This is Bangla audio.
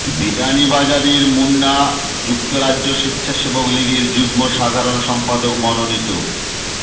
বিয়ানীবাজারের মুন্না যুক্তরাজ্য স্বেচ্ছাসেবক লীগের যুগ্ম সাধারণ সম্পাদক মনোনীত